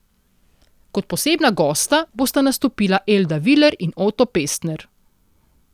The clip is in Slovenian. Kot posebna gosta bosta nastopila Elda Viler in Oto Pestner.